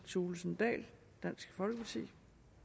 thulesen dahl dansk folkeparti